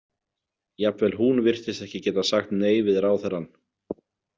Jafnvel hún virtist ekki getað sagt nei við ráðherrann.